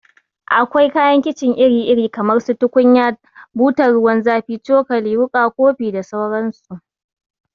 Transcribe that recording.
Akwai kayan kicin iri iri kamar su tukunya, butan ruwan zafi, cokali, wuka, kofi da sauran su